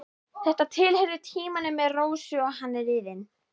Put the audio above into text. Þetta tilheyrir tímanum með Rósu og hann er liðinn.